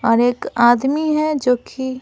और एक आदमी है जो कि --